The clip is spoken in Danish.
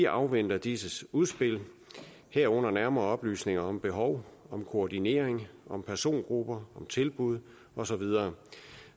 afventer disses udspil herunder nærmere oplysninger om behov koordinering persongrupper tilbud og så videre